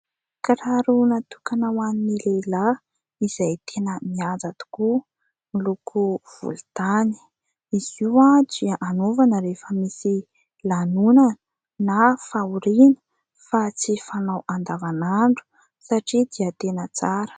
Kiraro natokana hoan'ny lehilahy izay tena mihaja tokoa miloko volontany, izy io dia anaovana rehefa misy lanonana na fahoriana fa tsy fanao andavanandro satria dia tena tsara.